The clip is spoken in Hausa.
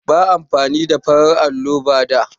Ba a amfani da farar allo ba da.